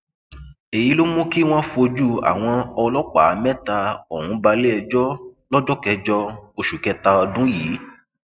èyí ló mú kí wọn fojú àwọn ọlọpàá mẹta ọhún balẹẹjọ lọjọ kẹjọ oṣù kẹta ọdún yìí